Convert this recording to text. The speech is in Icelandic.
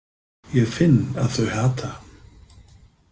Ég finn að þau hata hann.